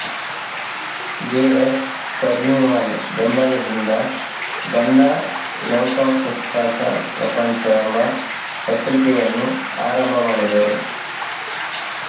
J S Furnivall ಬೆಂಬಲದಿಂದ ಗಂದಾ ಲವ್ಕಾ ಪುಸ್ತಕ ಪ್ರಪಂಚ ಎಂಬ ಪತ್ರಿಕೆಯನ್ನು ಆರಂಭ ಮಾಡಿದರು